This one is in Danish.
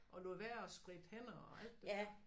Og lod være at spritte hænder og alt det der